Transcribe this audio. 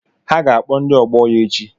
Ha ga-akpo ndi ọgbọ ya echi